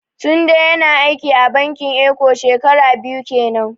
Tunde ya na aiki a bankin eko shekara biyu kenan